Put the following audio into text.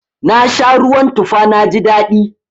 Na sha ruwan tufa na ji daɗi.